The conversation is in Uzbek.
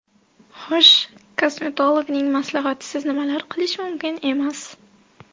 Xush , kosmetologning maslahatisiz nimalar qilish mumkin emas?